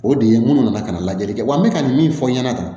O de ye munnu nana ka na lajɛli kɛ wa n bɛ ka nin min fɔ aw ɲɛna tan